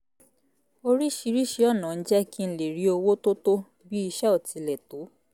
oríṣiríṣi ọ̀nà ń jẹ́ kí n lè rí owó tó tó bí iṣé ò tilẹ̀ tó